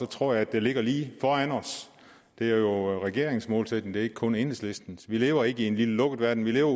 tror at det ligger lige foran os det er jo regeringens målsætning og ikke kun enhedslistens vi lever ikke i en lille lukket verden vi lever